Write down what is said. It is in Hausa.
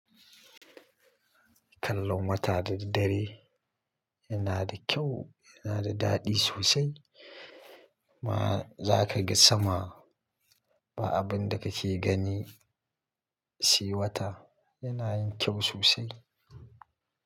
Kallon wata da daddare yana da kyau, yana da dadi sosai. Ma za kaga sama, ba abin da kake gani sai wata. Yana yin kyau sosai.